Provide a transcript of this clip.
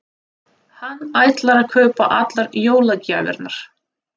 Hann ætlar að kaupa allar jólagjafirnar.